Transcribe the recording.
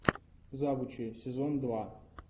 завучи сезон два